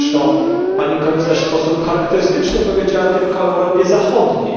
Zresztą pani komisarz w sposób charakterystyczny powiedziała tylko o Europie Zachodniej.